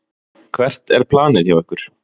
Hvert er planið hjá ykkur?